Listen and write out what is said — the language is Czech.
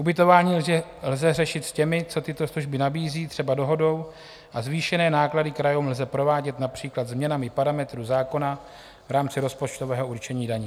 Ubytování lze řešit s těmi, co tyto služby nabízí, třeba dohodou a zvýšené náklady krajům lze provádět například změnami parametrů zákona v rámci rozpočtového určení daní.